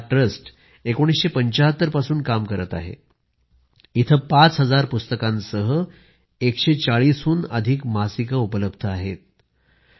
हा ट्रस्ट 1975 पासून काम करत आहे आणि पाच हजार पुस्तकांसह 140 हून अधिक मासिकं उपलब्ध करून देते